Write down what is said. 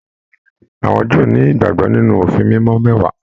Àwọn Júù ni ìgbàgbọ nínú òfin mímọ mẹwàá.